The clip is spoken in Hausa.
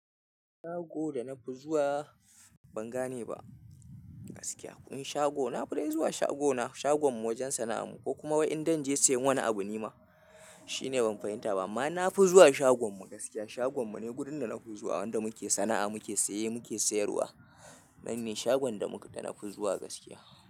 Shago da na fi zuwa ban gane ba gaskiya. Kun sha go? Na fi dai zuwa shagona, shagom mu wajen sana'a mu ko kuma in zan je siyan wani abu ni ma shine ban fahimta ba. Amma na fi zuwa shagom mu gaskiya. Shagom mu ne gudun da na fi zuwa. Wanda muke sana'a, muke siye, muke sayarwa. Nan ne shagon da muka, da na fi zuwa gaskiya.